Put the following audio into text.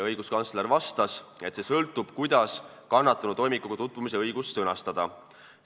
Õiguskantsler vastas, et sõltub sellest, kuidas kannatanu toimikuga tutvumise õigust sõnastada.